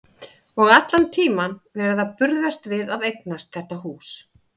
Og allan tímann verið að burðast við að eignast þetta hús.